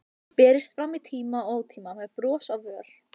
Berist fram í tíma og ótíma, með bros á vör.